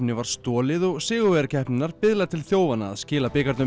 var stolið og sigurvegari keppninnar biðlar til þjófanna að skila